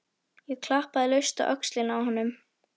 Ég klappaði laust á öxlina á honum.